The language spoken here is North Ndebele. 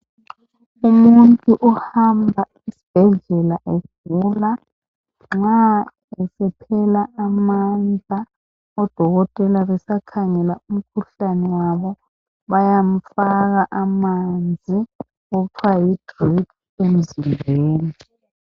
Umuntu ohamba esibhedlela egula nxa esephela amandla odokotela besakhangela umkhuhlane wabo bayamfaka amanzi okuthiwa yi drip emzimbeni.